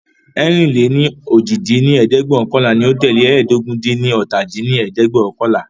ẹ̀rin-lé-ní-ojì dín ní ẹ̀ẹ́dẹ́gbẹ́ọ̀kànlá ní o tẹ́lẹ̀ ẹ́ẹdógún-dín-ní-ọ́ta dín ní ẹ̀ẹ́dẹ́gbẹ́ọ̀kànlá